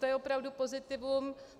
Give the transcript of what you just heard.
To je opravdu pozitivum.